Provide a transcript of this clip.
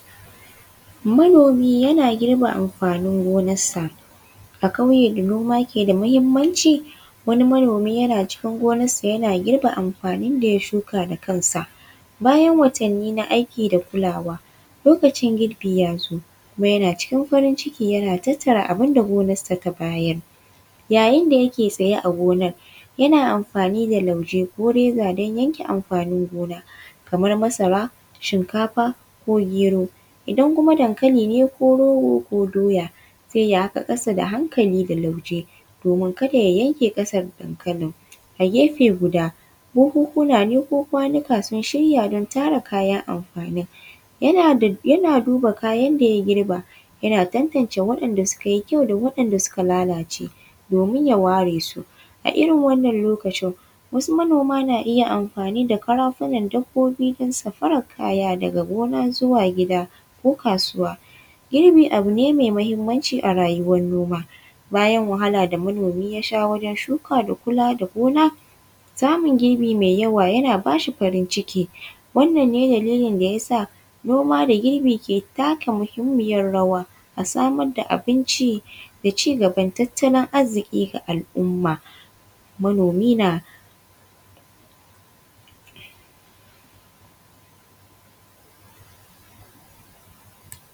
Manomi yana girbe amfanin gonarsa a ƙauye da noma ke da muhimmanci, wani manomi cikin ginarsa yana girbe amfanin da ya shuka da kansa bayan watanni na aiki da kulawa lokacin girbi ya matso kuma yana cikin farin ciki yana tattara abun da gonarsa ta bayar. Yayin da yake tsaye a gonar yana amfani da lauje ko reza don yake amfanin gona kamar masara, shinkafa ko gero. Idan kuma dankali ne ko rogo ko doya. Zai yi ƙasa da hankali da lauje domin kada ya yanke ƙasar dankalin a gefe guda buhunhuna ne ko kwanuka sun shirya don tara kayan amfanin. Yana duba kayan da ya girba yana tantace waɗandw suka yi ƙyau da wanda suka lalace domin a ware su a irin wannan lokaci, wasu manoma naniya amfani da karafunan dabbobi don sarafar kayan daga gina zuwa gida ko kasauwa. Girbi abu ne mai muhimmanci a rayuwar noma bayan wahala da manomi ya sha bayan shika da kula da gona. Samun girbi mai yawa yan ba shi farin ciki. Wannan ne dalilin da yasa noma da girbinke taka muhimmiyar rawa wajen samar da abinci da ci gaban tattalin arzikin ga al'umma. Manomi na.